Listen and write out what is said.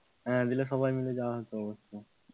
হ্যাঁ গেলে সবাই মিলে যাওয়া যেত একটা,